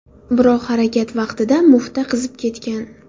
Biroq harakat vaqtida mufta qizib ketgan.